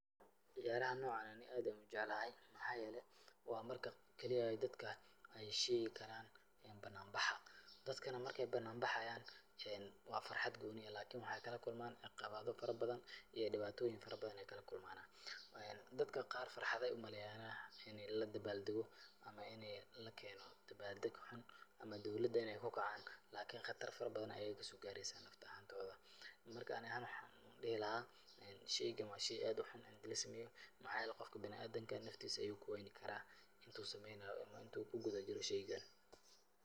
Ciyaaraha noocan ani aad ayaan ujeclahay. Maxaa yeelay, waa marki keli eh ay dadka ay sheegi karaan banaan baxa. Dadkana marka ay banaan baxayaan waa farxad gooni ah lakini waxaay kala kulmaan acqabado farabadan iyo dhibaatooyin faraban ay kalakulmaan. Dadka qaar farxaday umaleeyanah in ay la dabaaldego ama in ay la keeno dabaaldeg xun ama dowladana ay ku kacan. lakini khatar badan ayaay ka soo gaaraysa naf ahaantooda. Marka ani ahaan waxaan dhihi lahaa shaygan waa shay aad u xun int'lasameeyo. Maxaa yeelay, qofka bina'aadinka naftiisa ayuu ku wayni karaa inta uu sameynaayo ama inta uu ku guda jiro shaygani.